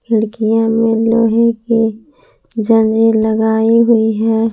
खिड़कियां में लोहे के जाली लगाई हुई है।